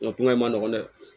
Nga kuma in ma nɔgɔ dɛ